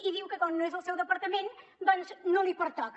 i diu que com no és el seu departament doncs no li pertoca